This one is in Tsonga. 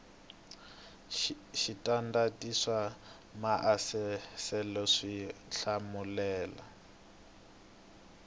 switandati swa maasesele swi hlamusela